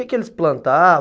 E o que que eles plantavam?